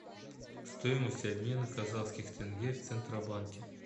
стоимость обмена казахских тенге в центробанке